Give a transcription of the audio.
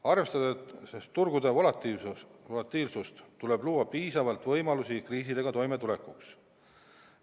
Arvestades turgude volatiilsust, tuleb luua piisavalt võimalusi kriisidega toimetulekuks.